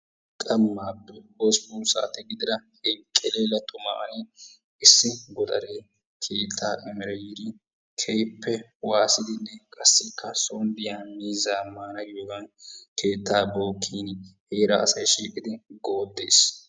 Qammaappe hosppun saate gidid enqelela xummaa issi godaree ciitaa emereerabyiidi keehiippe waasidi qassikka soon diya miizzaa maana giyoogan keettaa bookkin heeraa asay shiiqqid gooddiis.